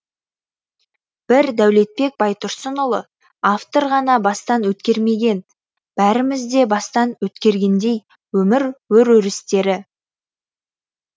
бір дәулетбек байтұрсынұлы автор ғана бастан өткермеген бәріміз де бастан өткергендей өмір өр өрістері